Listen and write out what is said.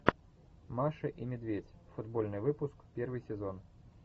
маша и медведь футбольный выпуск первый сезон